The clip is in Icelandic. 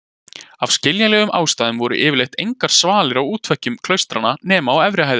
Af skiljanlegum ástæðum voru yfirleitt engar svalir á útveggjum klaustranna nema á efri hæðum.